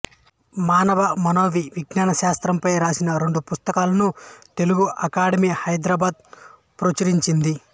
మానవ మనోవిజ్ఞానశాస్త్రంపై రాసిన రెండు పుస్తకాలను తెలుగు అకాడెమి హైదరాబాదు ప్రచురించింది